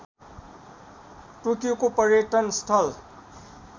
टोकियोको पर्यटन स्थल